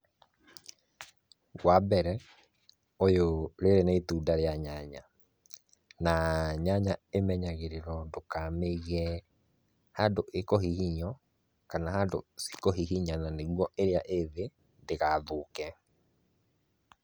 Wa mbere ũyũ, rĩrĩ nĩ itunda rĩa nyanya na nyanya imenyagĩrĩrwo ndũka mĩige handũ ĩkuhihinywo, kana handũ cikuhihinyana nĩguo ĩrĩa ĩthĩ ndĩgathũke